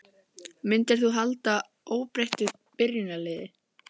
Myndir þú halda óbreyttu byrjunarliði?